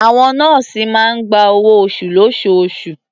Àwọn nọ́ọ̀sì máa ń gba owó-oṣù lóṣooṣù.